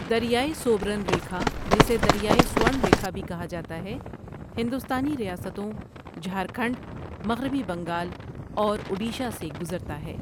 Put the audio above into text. دریائے سوبرن ریکھا جسے دریائے سوورن ریکھا بھی کہا جاتا ہے ہندوستانی ریاستوں جھارکھنڈ، مغربی بنگال اور اڈیشہ سے گزرتا ہے۔